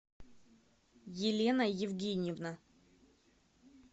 елена евгеньевна